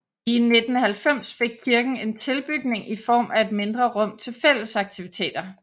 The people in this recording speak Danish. I 1990 fik kirken en tilbygning i form af et mindre rum til fællesaktiviteter